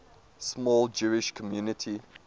small jewish community